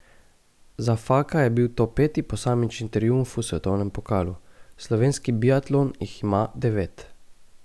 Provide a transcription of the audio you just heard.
Za Faka je bil to peti posamični triumf v svetovnem pokalu, slovenski biatlon jih ima devet.